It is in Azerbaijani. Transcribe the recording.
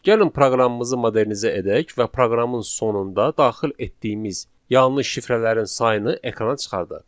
Gəlin proqramımızı modernizə edək və proqramın sonunda daxil etdiyimiz yanlış şifrələrin sayını ekrana çıxardaq.